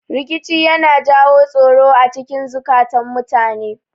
Rikici yana jawo tsoro acikin zukatun mutane